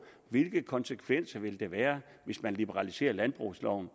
hvilke konsekvenser der ville være hvis man liberaliserede landbrugsloven